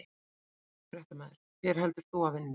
Fréttamaður: Hver heldur þú að vinni?